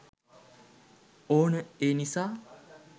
ඕන ඒ නිසා.